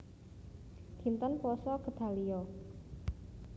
Dinten Puasa Gedalia